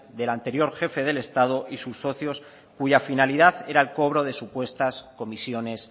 del anterior jefe del estado y sus socios cuya finalidad era el cobro de supuestas comisiones